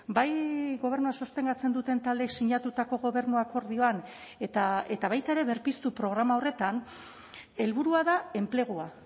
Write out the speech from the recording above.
bai gobernua sostengatzen duten taldeek sinatutako gobernu akordioan eta baita ere berpiztu programa horretan helburua da enplegua